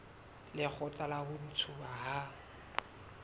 lekgotla la ho ntshuwa ha